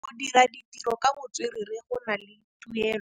Go dira ditirô ka botswerere go na le tuelô.